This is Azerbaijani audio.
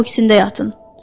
O ikisində də yatın.